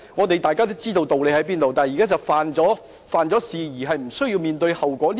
大家都知道道理何在，現在是有人犯了法而無須面對後果......